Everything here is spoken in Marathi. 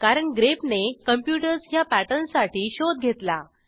कारण ग्रेप ने कॉम्प्युटर्स ह्या पॅटर्नसाठी शोध घेतला